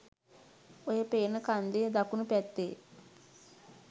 ඔය පේන කන්දෙ දකුණූ පැත්තෙ